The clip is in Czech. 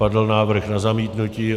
Padl návrh na zamítnutí.